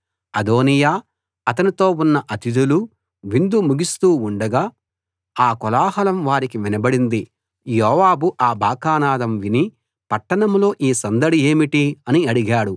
అదోనీయా అతనితో ఉన్న అతిథులూ విందు ముగిస్తూ ఉండగా ఆ కోలాహలం వారికి వినబడింది యోవాబు ఆ బాకానాదం విని పట్టణంలో ఈ సందడి ఏమిటి అని అడిగాడు